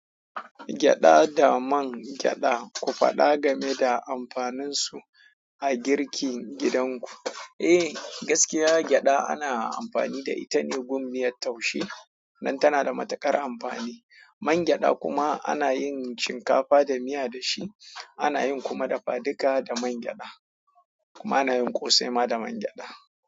Gyaɗa da man gyaɗa, ku faɗa game da amfaninsu a girkin gidanku. Eh, gaskiya gyaɗa ana amfani da ita ne gun miyar taushe don tana da matukar amfani. Man gyaɗa kuma ana yin shinkafa da miya da shi, ana yin kuma dafa duka da man gyaɗa. Kuma ana yin ƙosai ma da man gyaɗa.